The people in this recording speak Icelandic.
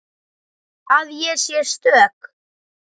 Að ég sé stök.